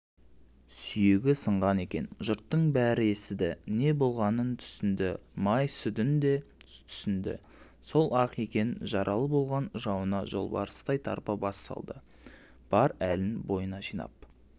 сүйегі сынған екен жұрттың бәрі естіді не болғанын түсінді май сүдін де түсінді сол-ақ екен жаралы болған жауына жолбарыстай тарпа бас салды бар әлін бойына жинап